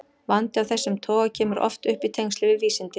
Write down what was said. Vandi af þessum toga kemur oft upp í tengslum við vísindi.